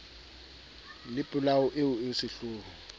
le polao eo e sehloho